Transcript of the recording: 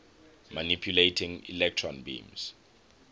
manipulating electron beams